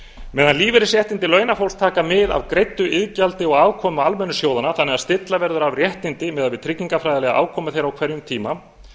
meðan lífeyrisréttindi launafólks taka mið af greiddu iðgjaldi og afkomu almennu sjóðanna þannig að stilla verður af réttindi miðað við tryggingafræðilega afkomu þeirra á hverjum tíma